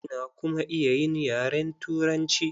Ina kuma iya yin yaren Turanci.